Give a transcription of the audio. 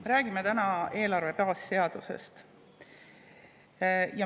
Me räägime täna eelarve baasseadusest.